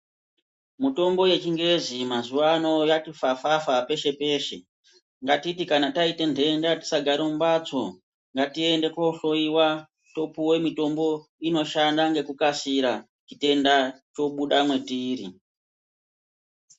Mitombo yechingezi mazuvano yati fafafa pashe peshe ngatiti kana taita ndenda tisagare mumbatso ngatiende kunohloiwa topiwa mitombo inoshanda ngekukasira chitenda chobuda mwetiri.